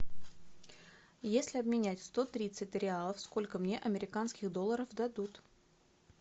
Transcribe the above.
если обменять сто тридцать реалов сколько мне американских долларов дадут